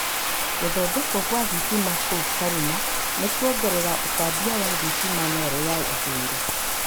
gũthondekwo kwa thitima kũu Karuma nĩĩkuongerera ũtambia wa thitima Nile ya ithũĩro